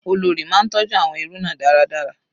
Olórí máa ń tọjú àwọn ẹrú náà dáradára.